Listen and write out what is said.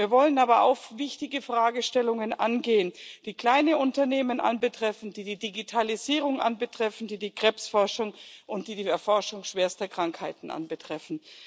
Wir wollen aber auch wichtige Fragestellungen angehen, die kleine Unternehmen betreffen, die die Digitalisierung betreffen, die die Krebsforschung und die Erforschung schwerster Krankheiten betreffen.